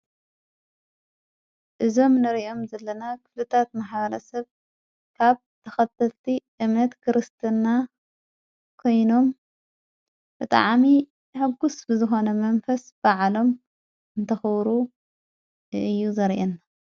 እዞም ንርእዮም ዘለና ኽፍልታት ማሕበረሰብ ካብ ተኸትልቲ እምነት ክርስትና ኮይኖም ብጣዕሚ ሕጕስ ብዝኾነ መንፈስ ብዓሎም እንተኽብሩ እዩ ዘርእየና።